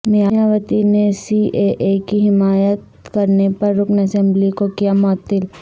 مایاوتی نے C A A کی حمایت کرنے پر رکن اسمبلی کو کیا معطل